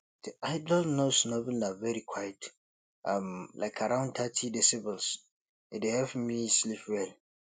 di ideal noise level na very quiet um like around thirty decibels e dey help me sleep well